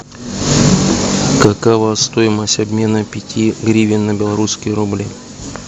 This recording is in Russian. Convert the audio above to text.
какова стоимость обмена пяти гривен на белорусские рубли